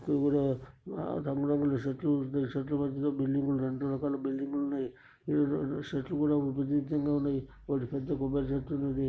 ఈడ ఆ రంగురంగుల చెట్లు ఉన్నై. చెట్ల మధ్యలో బిల్డింగ్ లు రెండు రకాల బిల్డింగ్ లు ఉన్నాయి. ఈడ సెట్లు కూడాాయి. ఒక దగ్గర ఉన్నాయి. ఒక పెద్ద కొబ్బరి చెట్టు ఉంది.